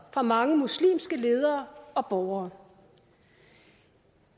fra mange muslimske ledere og borgere